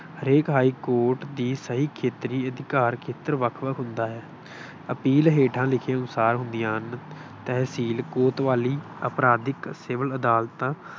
ਹਰੇਕ ਹਾਈਕੋਰਟ ਦੀ ਸਹੀ ਖੇਤਰੀ ਅਧਿਕਾਰ ਖੇਤਰ ਵੱਖ ਵੱਖ ਹੁੰਦਾ ਹੈ। ਅਪੀਲ ਹੇਠਾਂ ਲਿਖੇ ਅਨੁਸਾਰ ਹੁੰਦੀਆਂ ਹਨ। ਤਹਿਸੀਲ ਕੋਤਵਾਲੀ, ਅਪਰਾਧਕ, ਸਿਵਲ ਅਦਾਲਤਾਂ